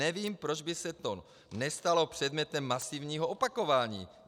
Nevím, proč by se to nestalo předmětem masivního opakování.